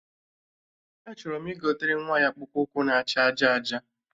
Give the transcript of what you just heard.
Achọrọ m igotere nwa ya akpụkpụ ụkwụ na acha aja aja